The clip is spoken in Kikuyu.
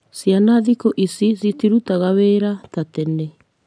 Ciana thikũ ici citirutaga wĩra ta tene